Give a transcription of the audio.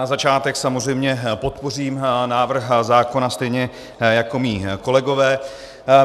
Na začátek samozřejmě podpořím návrh zákona stejně jako mí kolegové.